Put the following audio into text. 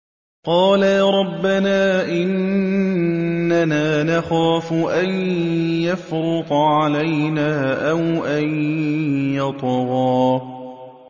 قَالَا رَبَّنَا إِنَّنَا نَخَافُ أَن يَفْرُطَ عَلَيْنَا أَوْ أَن يَطْغَىٰ